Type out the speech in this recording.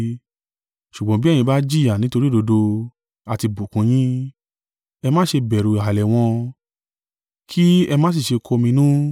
Ṣùgbọ́n bí ẹ̀yin bá jìyà nítorí òdodo, a ti bùkún yín. “Ẹ má ṣe bẹ̀rù ìhàlẹ̀ wọn, kí ẹ má sì ṣe kọminú.”